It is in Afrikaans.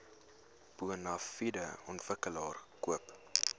bonafide ontwikkelaar koop